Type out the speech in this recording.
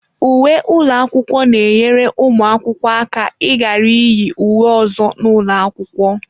Uwe ụlọ akwụkwọ na-enyere ụmụ akwụkwọ aka ịghara iyi uwe ọzọ n'ụlọ akwụkwọ.